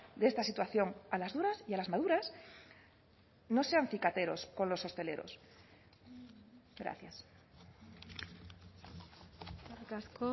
de esta situación a las duras y a las maduras no sean cicateros con los hosteleros gracias eskerrik asko